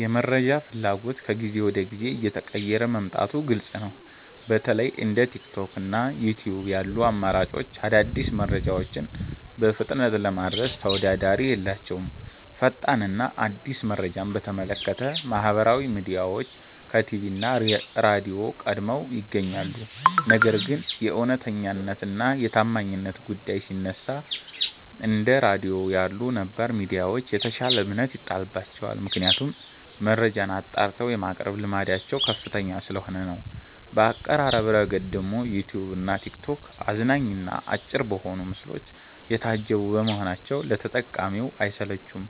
የመረጃ ፍላጎት ከጊዜ ወደ ጊዜ እየተቀየረ መምጣቱ ግልጽ ነው። በተለይ እንደ ቲክቶክ እና ዩትዩብ ያሉ አማራጮች አዳዲስ መረጃዎችን በፍጥነት ለማድረስ ተወዳዳሪ የላቸውም። ፈጣን እና አዲስ መረጃን በተመለከተ ማህበራዊ ሚዲያዎች ከቲቪ እና ራድዮ ቀድመው ይገኛሉ። ነገር ግን የእውነተኛነት እና የታማኝነት ጉዳይ ሲነሳ፣ እንደ ራድዮ ያሉ ነባር ሚዲያዎች የተሻለ እምነት ይጣልባቸዋል። ምክንያቱም መረጃን አጣርተው የማቅረብ ልምዳቸው ከፍተኛ ስለሆነ ነው። በአቀራረብ ረገድ ደግሞ ዩትዩብ እና ቲክቶክ አዝናኝ እና አጭር በሆኑ ምስሎች የታጀቡ በመሆናቸው ለተጠቃሚው አይሰለቹም።